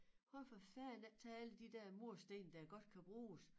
Hvorfor fanden ikke tage alle de der mursten der godt kan bruges